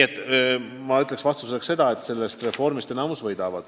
Aga ma kinnitan vastuseks seda, et enamik sellest reformist võidab.